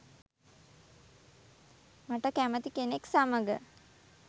"මට කැමති කෙනෙක් සමග